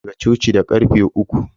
Muna tashi ne daga coci da karfe uku.